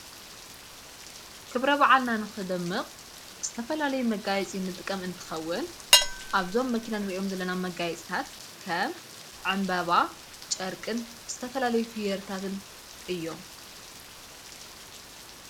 ክብረ ባዓልናንኽደምቕ ዝተፈላለይ መጋይጺ ንጥቀም እንትኸውን ኣብዞም መኪናን ርእዮም ዝለና መጋይጽታት ከም ዓምበባ ጨርቅን እዝተፈላለይ ፍየርታትን እዮም::